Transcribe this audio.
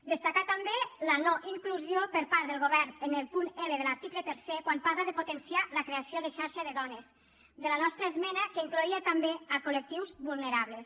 destacar també la no inclusió per part del govern en el punt l de l’article tercer quan parla de potenciar la creació de xarxa de dones de la nostra esmena que incloïa també colvulnerables